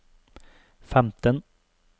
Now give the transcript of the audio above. femten